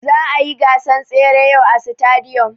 Za'a yi gasan tsere yau a sitadiyom.